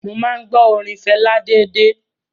Mo máa ń gbọ́ orin Fẹlá déédéé.